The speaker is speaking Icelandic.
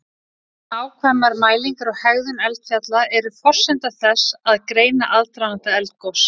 Nákvæmar mælingar á hegðun eldfjalla eru forsenda þess að greina aðdraganda eldgos.